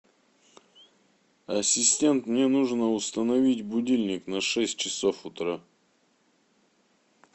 ассистент мне нужно установить будильник на шесть часов утра